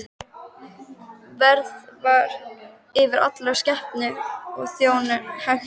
Værð var yfir allri skepnu og fór Jón hægt um.